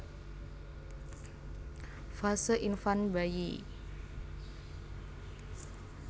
Fase Infant bayi